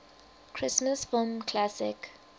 christmas film classic